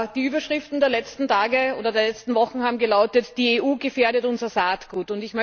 Die Überschriften der letzten Tage oder Wochen haben gelautet Die EU gefährdet unser Saatgut!